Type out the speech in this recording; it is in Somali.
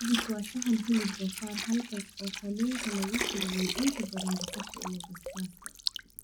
Cevich waa saxan hilib doofaar halkaas oo kalluunku lagu kariyey inta badan basasha iyo basbaaska